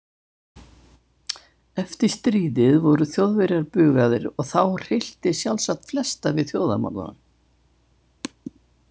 Eftir stríðið voru Þjóðverjar bugaðir og þá hryllti sjálfsagt flesta við þjóðarmorðunum.